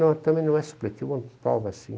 Não, também não é supletivo, é uma prova assim.